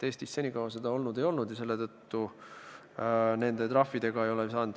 Eestis senikaua seda olnud ei ole.